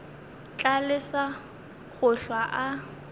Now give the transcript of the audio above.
tla lesa go hlwa a